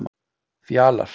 Fjalar